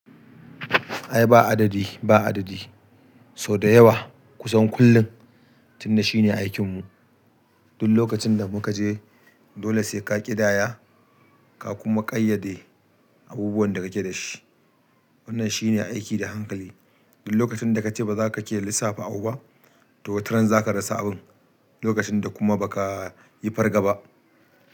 Ai ba adadi, ba adadi. So da yawa kusan kullum. Tun da shine aikinmu. Duk lokacin da mukaje dole sai ka kidaya ka kuma ƙayyade abubuwan da kake da shi. Wannan shine aiki da hankali. Duk lokacin da ka ce ba za ka ke lissafa abu ba, to wataran za ka rasa abun. Lokacin da kuma ba ka yi fargaba.